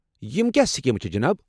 یمہٕ کیٛاہ سکیٖمہ چھےٚ جناب؟